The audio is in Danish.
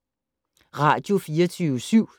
Radio24syv